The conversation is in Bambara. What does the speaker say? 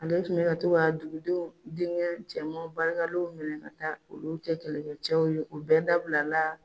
Ale tun bi ka to ka dugudenw, denkɛ cɛman barikalenw minɛ ka taa olu cɛ kɛlɛkɛ cɛw ye, o bɛɛ dabila la